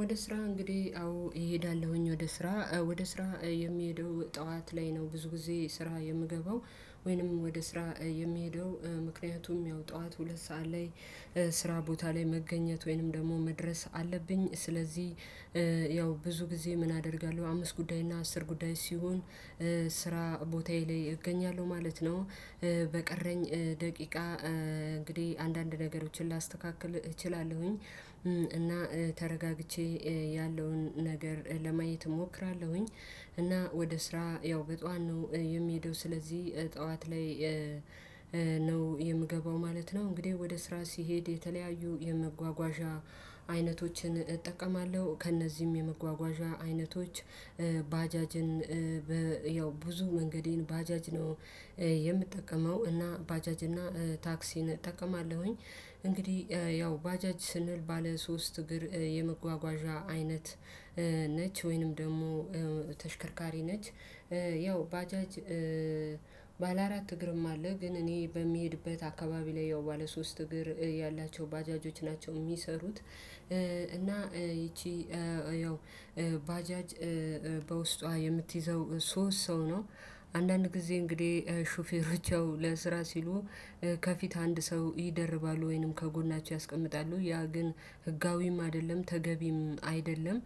ወደ ስራ እንግዲህ አዎ እሄዳለሁኝ ወደ ስራ ወደ ስራ የሚሄደው ጠዋት ላይ ነው። ብዙ ጊዜ ስራ የምገባው። ወይንም ወደ ስራ የሚሄደው ምክንያቱም ያው ጠዋት ሁለት ሰዓት ላይ። ስራ ቦታ ላይ መገኘት ወይንም ደግሞ መድረስ አለብኝ። ስለዚህ ያው ብዙ ጊዜ ምን አደርጋለሁ አምስት ጉዳይ እና አስር ጉዳይ ሲሆን ስራ ቦታዬ ላይ እገኛለሁ ማለት ነው። በቀረኝ ደቂቃ እንግዲህ አንዳንድ ነገሮችን ላስተካክል እችላለሁኝ። እና ተረጋግቼ ያለውን ነገር ለማየት እሞክራለሁኝ። እና ወደ ስራ ያው በጧት ነው የሚሄደው ስለዚህ ጠዋት ላይ ነው የምገባው ማለት ነው። እንግዲህ ወደ ስራ ሲሄድ የተለያዩ የመጓጓዣ አይነቶችን እጠቀማለሁ። ከእነዚህም የመጓጓዣ አይነቶች ባጃጅን ያው ብዙ መንገዴን ባጃጅ ነው የምጠቀመው እና ባጃጅ እና ታክሲን እጠቀማለሁኝ። እንግዲህ ያው ባጃጅ ስንል ባለ ሶስት እግር የመጓጓዣ አይነት ነች። ወይንም ደግሞ ተሽከርካሪ ነች። ያው ባጃጅ ባለ አራት እግርም አለ ግን እኔ በሚሄድበት አካባቢ ላይ ያው ባለ ሶስት እግር ያላቸው ባጃጆች ናቸው የሚሰሩት። እና ይቺ ያው ባጃጅ በውስጧ የምትይዘው ሶስት ሰው ነው። አንዳንድ ጊዜ እንግዲህ ሹፌሮች ያው ለስራ ሲሉ ከፊት አንድ ሰው ይደርባሉ ወይንም ከጎናቸው ያስቀምጣሉ ያ ግን ህጋዊም አይደለም ተገቢም አይደለም።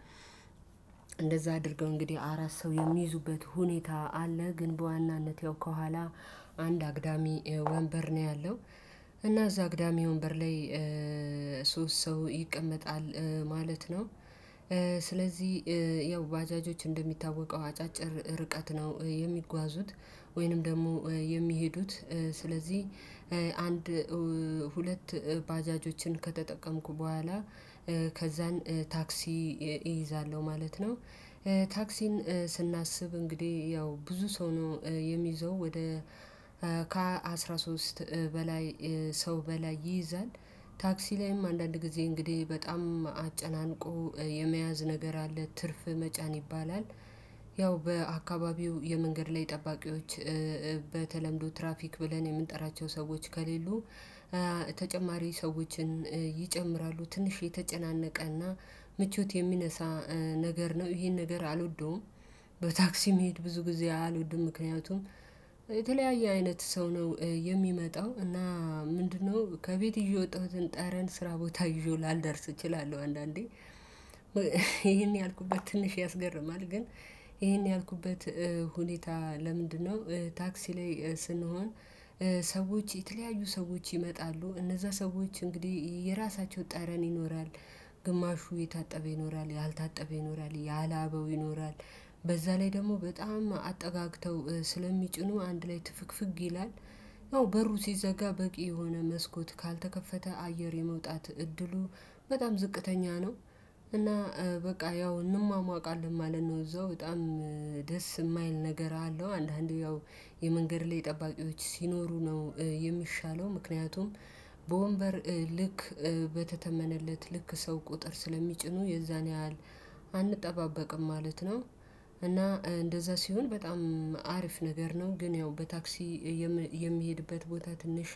እንደዛ አድርገው እንግዲህ አራት ሰው የሚይዙበት ሁኔታ አለ። ግን በዋናነት ያው ከኋላ አንድ አግዳሚ ወንበር ነው ያለው። እና እዛ አግዳሚ ወንበር ላይ ሶስት ሰው ይቀመጣል ማለት ነው። ስለዚህ ያው ባጃጆች እንደሚታወቀው አጫጭር ርቀት ነው የሚጓዙት። ወይንም ደግሞ የሚሄዱት ስለዚህ ሁለት ባጃጆችን ከተጠቀምኩ በኋላ ከዛን ታክሲ እይዛለሁ ማለት ነው። ታክሲን ስናስብ እንግዲህ ያው ብዙ ሰው ነው የሚይዘው ወደ ከአስራ ሶስት በላይ ሰው በላይ ይይዛል። ታክሲ ላይም አንዳንድ ጊዜ እንግዲህ በጣም አጨናንቆ የመያዝ ነገር አለ ትርፍ መጫን ይባላል። ያው በአካባቢው የመንገድ ላይ ጠባቂዎች በተለምዶ ትራፊክ ብለን የምንጠራቸው ሰዎች ከሌሉ ተጨማሪ ሰዎችን ይጨምራሉ ትንሽ የተጨናነቀና ምቾት የሚነሳ ነገር ነው ይሄን ነገር አልወደውም። በታክሲ መሄድ ብዙ ጊዜ አልወድም ምክንያቱም አይነት ሰው ነው። የሚመጣው እና ምንድነው ከቤት ይዤ ወጣሁትን ጠረን ስራ ቦታ ይዤው ላልደርስ እችላለሁ። አንዳንዴ ይሄን ያልኩበት ትንሽ ያስገርማል። ግን ይሄን ያልኩበት ሁኔታ ለምንድነው? ታክሲ ላይ ስንሆን ሰዎች የተለያዩ ሰዎች ይመጣሉ እነዛ ሰዎች እንግዲህ የራሳቸው ጠረን ይኖራል። ግማሹ የታጠበ ይኖራል ያልታጠበ ይኖራል ያላበው ይኖራል። በዛ ላይ ደግሞ በጣም አጠጋግተው ስለሚጭኑ አንድ ላይ ትፍግፍግ ይላል። ያው በሩ ሲዘጋ በቂ የሆነ መስኮት ካልተከፈተ አየር የመውጣት እድሉ በጣም ዝቅተኛ ነው። እና በቃ ያው እንሟሟቃለን ማለት ነው። እዛው በጣም ደስ የማይል ነገር አለው። አንዳንዴ ያው የመንገድ ላይ ጠባቂዎች ሲኖሩ ነው የሚሻለው። ምክንያቱም በወንበር ልክ በተተመነለት ልክ ሰው ቁጥር ስለሚጭኑ የዛን ያህል አንጠባበቅም ማለት ነው። እና እንደዛ ሲሆን በጣም አሪፍ ነገር ነው። ግን ያው በታክሲ የምሄድበት ቦታ ትንሽ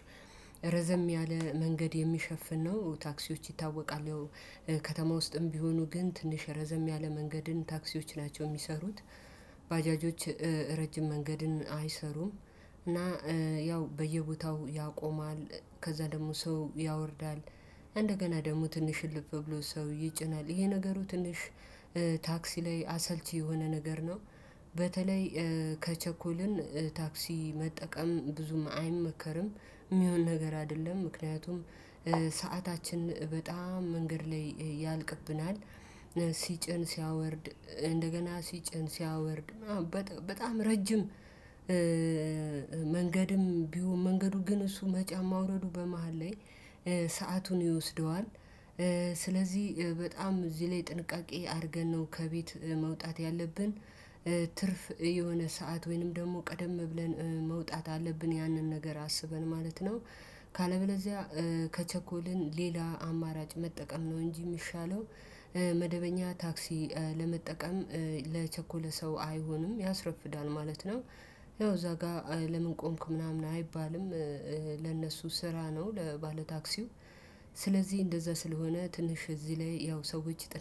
ረዘም ያለ መንገድ የሚሸፍን ነው። ታክሲዎች ይታወቃል ያው ከተማ ውስጥም ቢሆኑ ግን ትንሽ ረዘም ያለ መንገድን ታክሲዎች ናቸው የሚሰሩት። ረጅም መንገድን አይሰሩም። እና ያው በየቦታው ያቆማል ከዛ ደግሞ ሰው ያወርዳል እንደገና ደግሞ ትንሽ ልብ ብሎ ሰው ይጭናል ይሄ ነገሩ ትንሽ ታክሲ ላይ አሰልቺ የሆነ ነገር ነው። በተለይ ከቸኮልን ታክሲ መጠቀም ብዙም አይመከርም የሚሆን ነገር አይደለም። ምክንያቱም ሰዓታችን በጣም መንገድ ላይ ያልቅብናል። ሲጭን ሲያወርድ እንደገና ሲጭን ሲያወርድ በጣም ረጅም መንገድም ቢሆን መንገዱ ግን እሱ መጫን ማውረዱ በመሃል ላይ ሰአቱን ይወስደዋል። ስለዚህ በጣም እዚህ ላይ ጥንቃቄ አድርገን ነው ከቤት መውጣት ያለብን። ትርፍ የሆነ ሰዓት ወይንም ደግሞ ቀደም ብለን መውጣት አለብን ያንን ነገር አስበን ማለት ነው። ካለበለዚያ ከቸኮልን ሌላ አማራጭ መጠቀም ነው እንጂ የሚሻለው። መደበኛ ታክሲ ለመጠቀም ለቸኮለ ሰው አይሆንም ያስረፍዳል ማለት ነው። ያው እዛ ጋር ለምን ቆምክ ምናምን አይባልም። ለነሱ ስራ ነው ለባለታክሲው። ስለዚህ እንደዛ ስለሆነ ትንሽ እዚህ ላይ ያው ሰዎች ጥረት